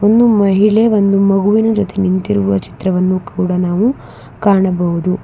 ಒಂದು ಮಹಿಳೆ ಒಂದು ಮಗುವಿನ ಜೊತೆ ನಿಂತಿರುವ ಚಿತ್ರವನ್ನು ಕೂಡ ನಾವು ಕಾಣಬಹುದು.